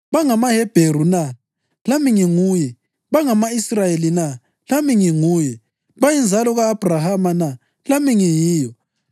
BangamaHebheru na? Lami nginguye. Bangama-Israyeli na? Lami nginguye. Bayinzalo ka-Abhrahama na? Lami ngiyiyo.